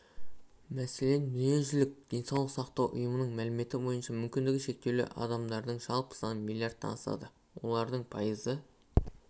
мәселен дүниежүзілік денсаулық сақтау ұйымының мәліметі бойынша мүмкіндігі шектеулі адамдардың жалпы саны миллардтан асады олардың пайызы